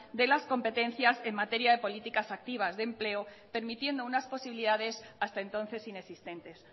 de las competencias en materia de políticas activas de empleo permitiendo unas posibilidades hasta entonces inexistentes